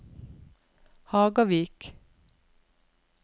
Hagavik